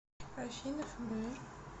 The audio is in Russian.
афина фбр